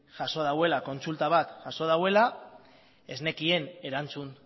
jaso dauela kontsulta bat jaso dauela ez nekien erantzun